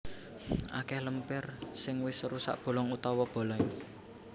Akèh lempir sing wis rusak bolong utawa bolèng